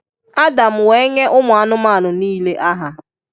Adam wee nyee ụmụ anụmanụ nịịle aha